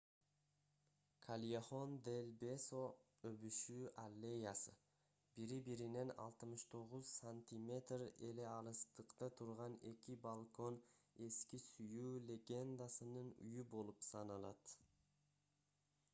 кальехон дель бесо өбүшүү аллеясы. бири-биринен 69 сантиметр эле алыстыкта турган эки балкон эски сүйүү легендасынын үйү болуп саналат